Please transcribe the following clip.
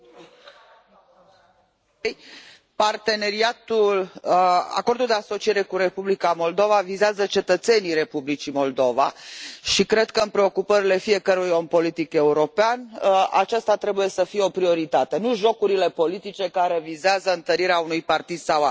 Domnule președinte, acordul de asociere cu Republica Moldova vizează cetățenii Republicii Moldova și cred că, în preocupările fiecărui om politic european, aceasta trebuie să fie o prioritate, nu jocurile politice care vizează întărirea unui partid sau altul.